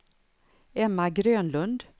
Emma Grönlund